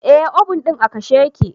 Eh, obun din a kashe ya ke.